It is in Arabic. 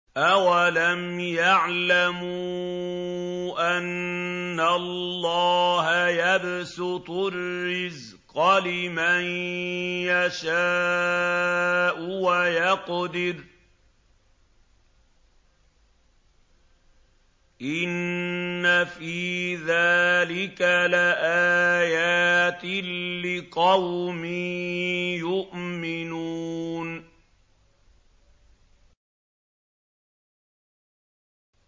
أَوَلَمْ يَعْلَمُوا أَنَّ اللَّهَ يَبْسُطُ الرِّزْقَ لِمَن يَشَاءُ وَيَقْدِرُ ۚ إِنَّ فِي ذَٰلِكَ لَآيَاتٍ لِّقَوْمٍ يُؤْمِنُونَ